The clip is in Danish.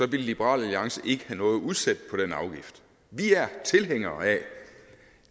ville liberal alliance ikke have udsætte på den afgift vi er tilhængere af